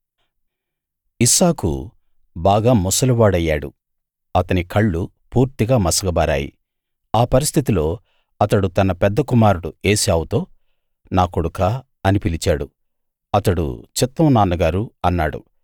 ఇస్సాకు బాగా ముసలి వాడయ్యాడు అతని కళ్ళు పూర్తిగా మసకబారాయి ఆ పరిస్థితిలో అతడు తన పెద్ద కుమారుడు ఏశావుతో నా కొడుకా అని పిలిచాడు అతడు చిత్తం నాన్నగారూ అన్నాడు